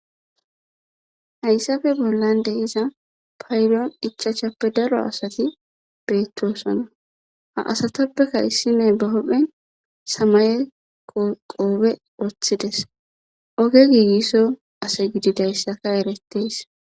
hayssafe bollan deiza payloon ichachappe daro asati beettoosonna ha asatappekka issimey ba hodhdphen samaye qqoobe ooththides oge giigisso asa gididayssaka erettees